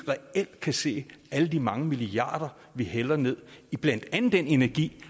kan se alle de mange milliarder vi hælder ned i blandt andet den energi